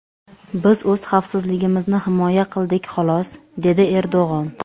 Biz o‘z xavfsizligimizni himoya qildik, xolos”, dedi Erdo‘g‘on.